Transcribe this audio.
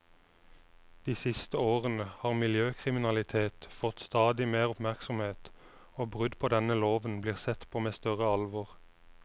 De siste årene har miljøkriminalitet fått stadig mer oppmerksomhet, og brudd på denne loven blir sett på med større alvor.